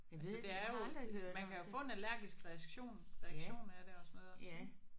Altså det er jo man kan jo få en allergisk reaktion reaktion af det og sådan noget også ik